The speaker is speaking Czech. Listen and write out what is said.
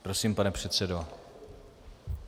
Prosím, pane předsedo.